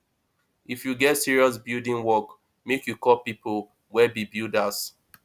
if you get serious building work make you call pipo wey be builders